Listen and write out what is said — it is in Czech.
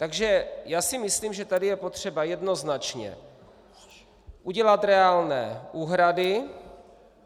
Takže já si myslím, že tady je potřeba jednoznačně udělat reálné úhrady.